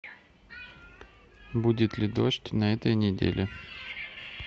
будет ли дождь на этой неделе